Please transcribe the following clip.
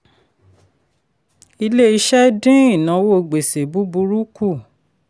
ilé-iṣẹ́ dín ìnáwó gbèsè búburú kù.